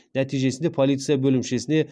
нәтижесінде полиция бөлімшесіне